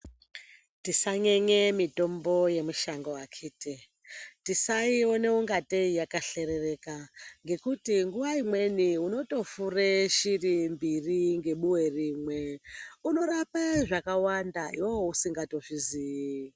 Tisanyenye mitombo yemushango akhithi, tisaiona ungatei yakahlerereka ngekuti nguwa imweni unotofure shiri mbiri ngebuwe rimwe, unorapa zvakawanda iwewe usingatozvizii.